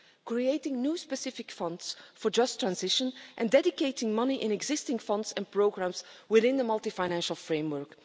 Creating new specific funds for just transition and dedicating money in existing funds and programmes within the Multiannual Financial Framework.